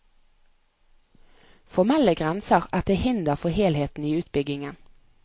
Formelle grenser er til hinder for helheten i utbyggingen.